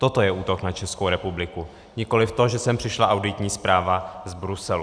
Toto je útok na Českou republiku, nikoliv to, že sem přišla auditní zpráva z Bruselu.